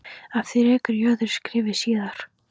Að því rekur í öðru skrifi síðar.